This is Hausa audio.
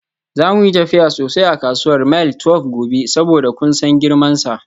Za mu yi tafiya sosai a kasuwar Mile 12 gobe saboda kun san girmansa.